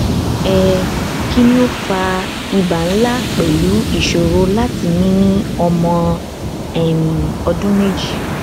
um kini o fa iba nla pelu isoro lati mi ni omo um odun meji